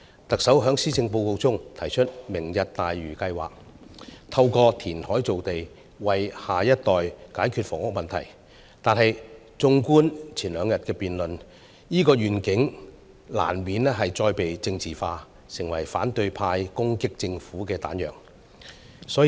特首在施政報告中提出"明日大嶼"計劃，透過填海造地為下一代解決房屋問題，但是綜觀前兩天的辯論，這個願景難免再被政治化，成為反對派攻擊政府的彈藥。